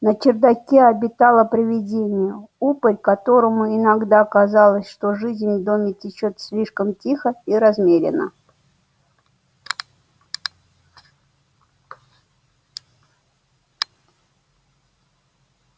на чердаке обитало привидение упырь которому иногда казалось что жизнь в доме течёт слишком тихо и размеренно